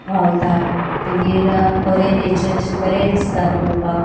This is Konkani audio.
व्हावता मागिर अ बरे नेचर अशे बरे दिसता पोवपाक.